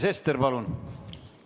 Sven Sester, palun!